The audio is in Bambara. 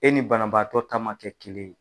E ni banabaatɔ ta ma kɛ kelen ye.